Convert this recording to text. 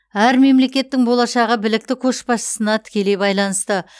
әр мемлекеттің болашағы білікті көшбасшысына тікелей байланысты